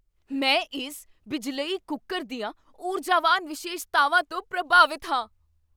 ਮੈਂ ਇਸ ਬਿਜਲਈ ਕੁੱਕਰ ਦੀਆਂ ਊਰਜਾਵਾਨ ਵਿਸ਼ੇਸ਼ਤਾਵਾਂ ਤੋਂ ਪ੍ਰਭਾਵਿਤ ਹਾਂ!